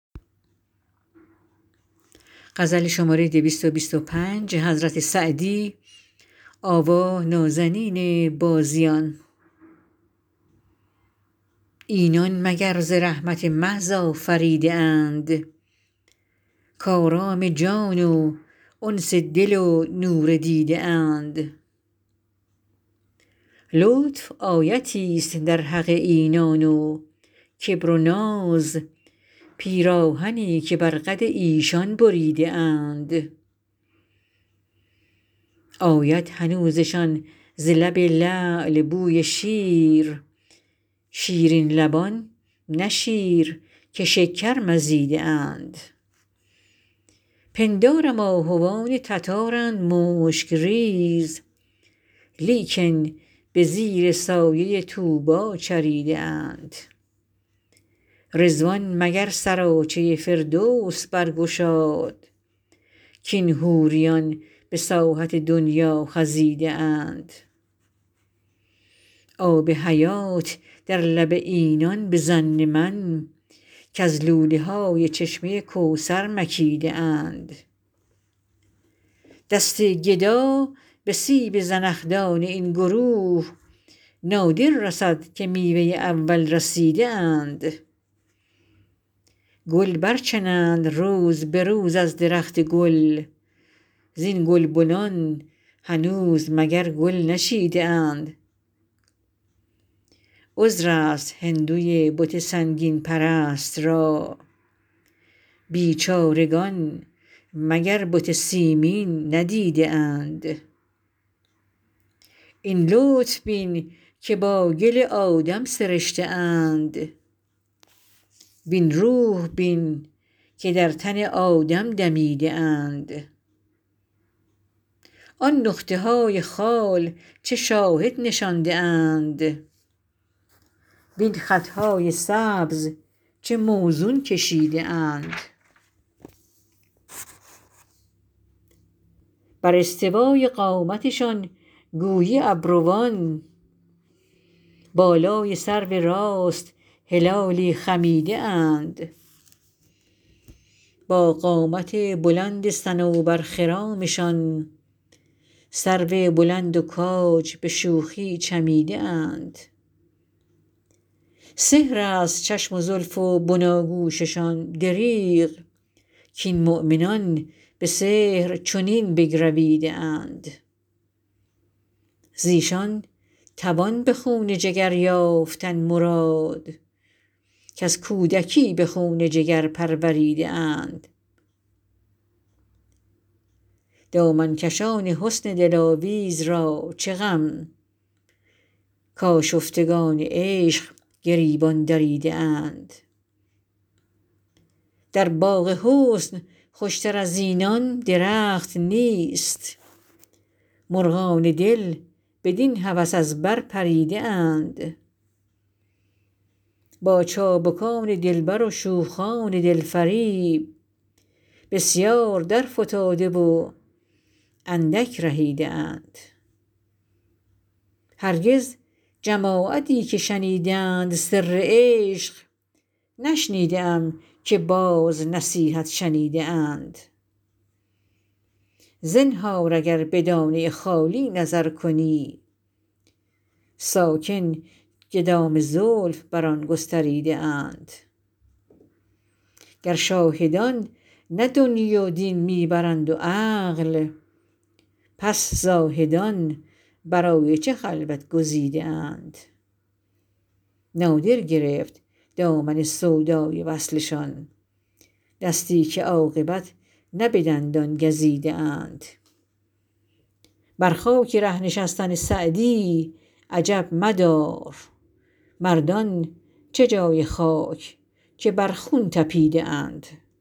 اینان مگر ز رحمت محض آفریده اند کآرام جان و انس دل و نور دیده اند لطف آیتی ست در حق اینان و کبر و ناز پیراهنی که بر قد ایشان بریده اند آید هنوزشان ز لب لعل بوی شیر شیرین لبان نه شیر که شکر مزیده اند پندارم آهوان تتارند مشک ریز لیکن به زیر سایه طوبی چریده اند رضوان مگر سراچه فردوس برگشاد کاین حوریان به ساحت دنیا خزیده اند آب حیات در لب اینان به ظن من کز لوله های چشمه کوثر مکیده اند دست گدا به سیب زنخدان این گروه نادر رسد که میوه اول رسیده اند گل برچنند روز به روز از درخت گل زین گلبنان هنوز مگر گل نچیده اند عذر است هندوی بت سنگین پرست را بیچارگان مگر بت سیمین ندیده اند این لطف بین که با گل آدم سرشته اند وین روح بین که در تن آدم دمیده اند آن نقطه های خال چه شاهد نشانده اند وین خط های سبز چه موزون کشیده اند بر استوای قامتشان گویی ابروان بالای سرو راست هلالی خمیده اند با قامت بلند صنوبرخرامشان سرو بلند و کاج به شوخی چمیده اند سحر است چشم و زلف و بناگوششان دریغ کاین مؤمنان به سحر چنین بگرویده اند ز ایشان توان به خون جگر یافتن مراد کز کودکی به خون جگر پروریده اند دامن کشان حسن دلاویز را چه غم کآشفتگان عشق گریبان دریده اند در باغ حسن خوش تر از اینان درخت نیست مرغان دل بدین هوس از بر پریده اند با چابکان دلبر و شوخان دل فریب بسیار درفتاده و اندک رهیده اند هرگز جماعتی که شنیدند سر عشق نشنیده ام که باز نصیحت شنیده اند زنهار اگر به دانه خالی نظر کنی ساکن که دام زلف بر آن گستریده اند گر شاهدان نه دنیی و دین می برند و عقل پس زاهدان برای چه خلوت گزیده اند نادر گرفت دامن سودای وصلشان دستی که عاقبت نه به دندان گزیده اند بر خاک ره نشستن سعدی عجب مدار مردان چه جای خاک که بر خون طپیده اند